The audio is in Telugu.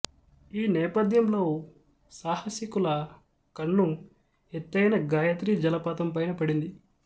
ఈ నేపథ్యంలో సాహసికుల కన్ను ఎత్తైన గాయత్రి జలపాతం పైన పడింది